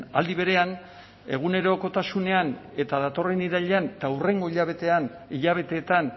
aldi berean egunerokotasunean eta datorren irailean eta hurrengo hilabeteetan